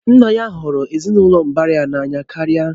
Nna ya na hụrụ ezinụlọ mbara ya n'anya karịa